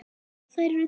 Þær eru til.